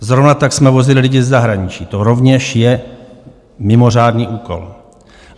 Zrovna tak jsme vozili lidi ze zahraničí, to rovněž je mimořádný úkol.